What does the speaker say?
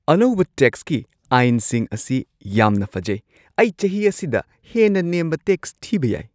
ꯑꯅꯧꯕ ꯇꯦꯛꯁꯀꯤ ꯑꯥꯏꯟꯁꯤꯡ ꯑꯁꯤ ꯌꯥꯝꯅ ꯐꯖꯩ! ꯑꯩ ꯆꯍꯤ ꯑꯁꯤꯗ ꯍꯦꯟꯅ ꯅꯦꯝꯕ ꯇꯦꯛꯁ ꯊꯤꯕ ꯌꯥꯏ!